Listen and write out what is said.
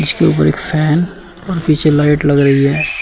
उसके ऊपर एक फैन और पीछे लाइट लग रही है।